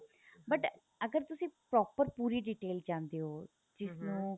but ਅਗਰ ਤੁਸੀਂ proper ਪੂਰੀ detail ਚਾਹੰਦੇ ਹੋ ਜਿਹਨੂੰ